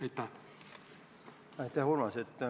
Aitäh, Urmas!